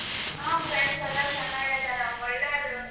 ಹ್ಮ friends ಎಲ್ಲ ಚೆನ್ನಾಗಿದರ ಒಳ್ಳೆವರು.